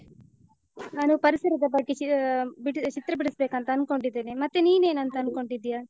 ನಾನು ಪರಿಸರದ ಬಗ್ಗೆ ಚಾ ಆಹ್ ಚಿತ್ರ ಬಿಡಿಸ್ಬೇಕಂತ ಅನ್ಕೊಂಡಿದ್ದೇನೆ. ಮತ್ತೇ ನೀನ್ ಏನ್ ಅಂತ ಅಂದ್ಕೊಂಡಿದ್ದೀಯಾ?